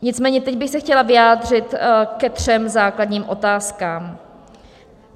Nicméně teď bych se chtěla vyjádřit ke třem základním otázkám.